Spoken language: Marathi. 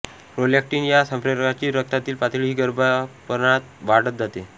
प्रोलॅक्टीन या संप्रेरकाची रक्तातील पातळीही गर्भारपणात वाढत जाते